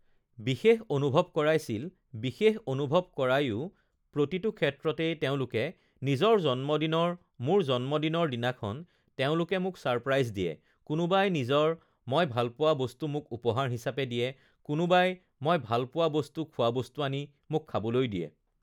বিশেষ অনুভৱ কৰাইছিল আ বিশেষ অনুভৱ কৰাওয়ো প্ৰতিটো ক্ষেত্ৰতেই তেওঁলোকে নিজৰ জন্মদিনৰ মোৰ জন্মদিনৰ দিনাখন তেওঁলোকে মোক ছাৰপ্ৰাইজ দিয়ে, কোনোবাই নিজৰ মই ভালপোৱা বস্তু মোক উপহাৰ হিচাপে দিয়ে, কোনোবাই মই ভালপোৱা বস্তু খোৱা বস্তু আনি মোক খাবলৈ দিয়ে